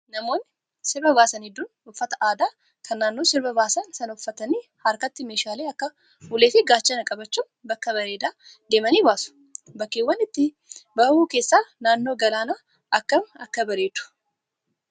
Namoonni sirba baasan hedduun uffata aadaa kan naannoo sirba baasan sanaa uffatanii, harkatti meeshaalee akka ulee fi gaachanaa qabachuun bakka bareedaa deemanii baasu. Bakkeewwan itti bahu keessaa naannoo galaanaa akkam akka bareedu.